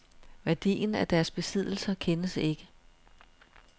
Værdien af deres besiddelser kendes ikke.